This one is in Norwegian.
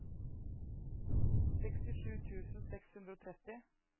sekstisju tusen seks hundre og tretti